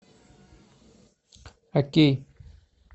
окей